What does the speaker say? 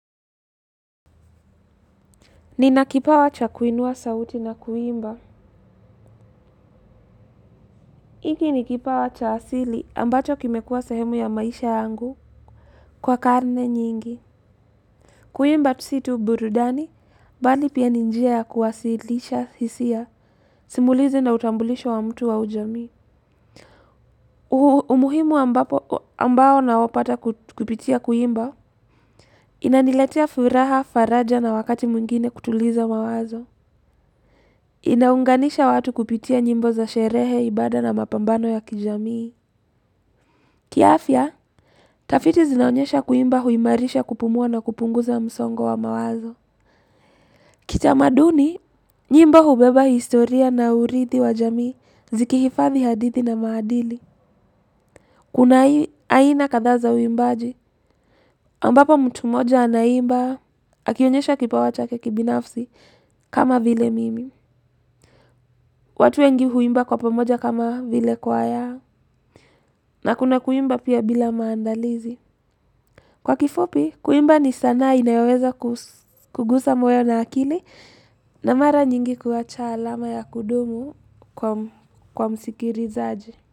Nina kipawa cha kuinua sauti na kuimba. Hiki ni kipawa cha asili ambacho kimekuwa sehemu ya maisha yangu kwa karne nyingi. Kuimba tu si tu burudani, bali pia ni njia ya kuwasilisha hisia, simulizi na utambulisho wa mtu wa ujamii. Umuhimu ambao naopata kupitia kuimba, inaniletea furaha, faraja na wakati mwingine kutuliza mawazo. Inaunganisha watu kupitia nyimbo za sherehe, ibada na mapambano ya kijamii. Kiafya, tafiti zinaonyesha kuimba huimarisha kupumua na kupunguza msongo wa mawazo. Kitamaduni, nyimbo hubeba historia na urithi wa jamii zikihifadhi hadithi na maadili. Kuna aina kadhaa za uimbaji ambapo mtu mmoja anaimba akionyesha kipawa chake kibinafsi kama vile mimi. Watu wengi huimba kwa pamoja kama vile kwaya na kuna kuimba pia bila maandalizi. Kwa kifupi, kuimba ni sanaa inayoweza kugusa moyo na akili na mara nyingi kuwacha alama ya kudumu kwa msikilizaji.